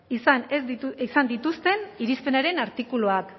izan dituzten irizpenaren artikuluak